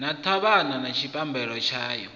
na ṱhavhana na tshipambala tshayo